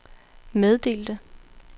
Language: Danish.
meddelte